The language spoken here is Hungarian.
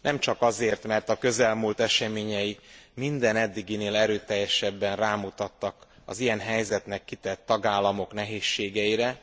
Nemcsak azért, mert a közelmúlt eseményei minden eddiginél erőteljesebben rámutattak az ilyen helyzetnek kitett tagállamok nehézségeire,